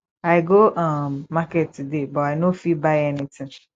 i go um market today but i no fit buy anything